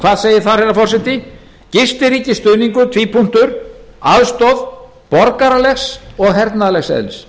og hernaðarlegrar starfsemi hvað segir þar herra forseti gistiríkisstuðningur aðstoð borgaralegs og hernaðarlegs eðlis